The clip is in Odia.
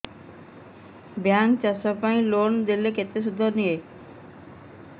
ବ୍ୟାଙ୍କ୍ ଚାଷ ପାଇଁ ଲୋନ୍ ଦେଲେ କେତେ ସୁଧ ନିଏ